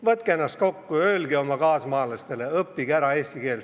Võtke ennast kokku ja öelge oma kaasmaalastele: "Õppige ära eesti keel!